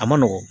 A ma nɔgɔn